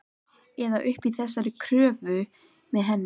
Eða uppi í þessari körfu með henni.